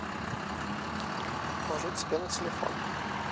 положить себе на телефон